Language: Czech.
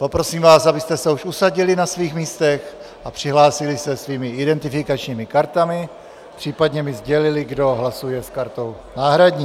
Poprosím vás, abyste se už usadili na svých místech a přihlásili se svými identifikačními kartami, případně mi sdělili, kdo hlasuje s kartou náhradní.